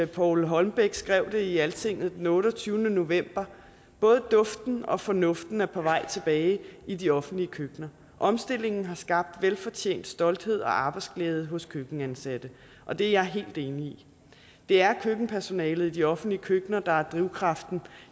paul holmbeck skrev det i altinget den otteogtyvende november både duften og fornuften er på vej tilbage i de offentlige køkkener omstillingen har skabt en velfortjent stolthed og arbejdsglæde hos køkkenansatte og det er jeg helt enig i det er køkkenpersonalet i de offentlige køkkener der er drivkraften